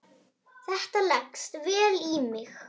Þetta leggst vel í mig.